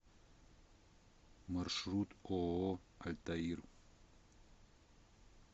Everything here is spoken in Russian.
маршрут ооо альтаир